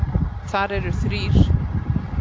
Þar eru þrír